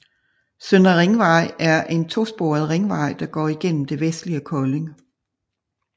Søndre Ringvej er en to sporet ringvej der går igennem det vestlige Kolding